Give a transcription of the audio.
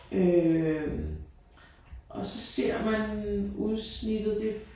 Øh og så ser man udsnittet det